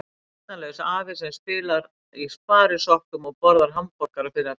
Heyrnarlaus afi sem spilar í sparisokkum og borðar hamborgara fyrir alla leiki.